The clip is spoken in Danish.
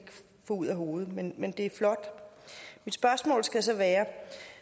få ud af hovedet men men det er flot mit spørgsmål skal så være